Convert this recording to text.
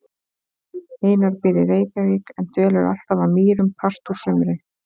Einar býr í Reykjavík en dvelur alltaf að Mýrum part úr sumri.